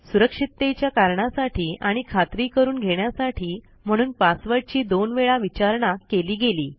सुरक्षिततेच्या कारणासाठी आणि खात्री करून घेण्यासाठी म्हणून पासवर्डची दोन वेळा विचारणा केली गेली